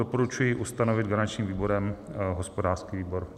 Doporučuji ustanovit garančním výborem hospodářský výbor.